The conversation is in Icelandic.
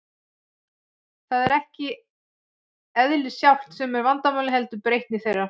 Það er ekki eðlið sjálft sem er vandamálið, heldur breytni þeirra.